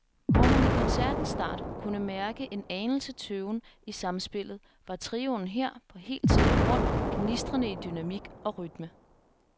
Hvor man i koncertens start kunne mærke en anelse tøven i samspillet, var trioen her på helt sikker grund, gnistrende i dynamik og rytme.